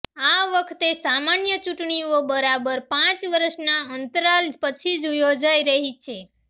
આ વખતે સામાન્ય ચૂંટણીઓ બરાબર પાંચ વર્ષના અંતરાલ પછી યોજાઇ રહી છે